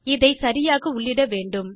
இதை சரியாக உள்ளிட வேண்டும்